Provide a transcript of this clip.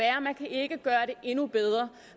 endnu bedre